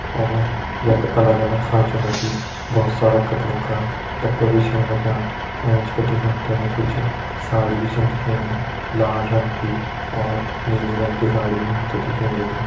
और यख अलग अलग खाँचों मा जी बहोत सारा कपड़ों का डब्बा भी छन रख्यां एंच बिटि हम ते कुछ साड़ी भी छन दिखेणी लाल रंग की और नीली रंग की साड़ी भी हम ते दिखेण लगीं।